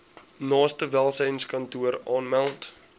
naaste welsynskantoor aanmeld